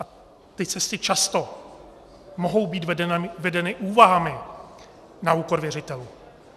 A ty cesty často mohou být vedeny úvahami na úkor věřitelů.